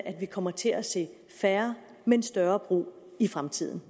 at vi kommer til at se færre men større brug i fremtiden